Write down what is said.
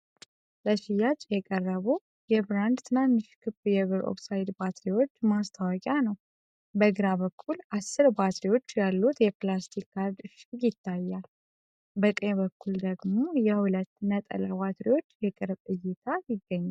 ለሽያጭ የቀረቡ የ"LiCB" ብራንድ ትናንሽ ክብ የብር ኦክሳይድ ባትሪዎች (SR927SW 395) ማስታወቂያ ነው። በግራ በኩል አሥር ባትሪዎች ያሉት የፕላስቲክ ካርድ እሽግ ይታያል። በቀኝ በኩል ደግሞ የሁለት ነጠላ ባትሪዎች የቅርብ እይታ ይገኛል።